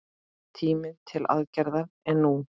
Tíminn til aðgerða er nú!